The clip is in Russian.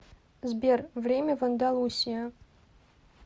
сбер время в андалусия